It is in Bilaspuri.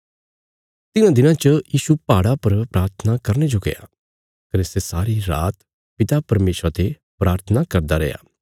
तिन्हां दिनां च यीशु पहाड़ा पर प्राथना करने जो गया कने सै सारी रात पिता परमेशरा ते प्राथना करदा रैया